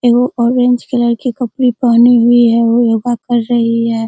एगो orange colour के कपड़े पहनी हुई है वह योगा कर रही है।